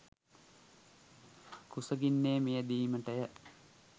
කුසගින්නේ මියැදීමට ය.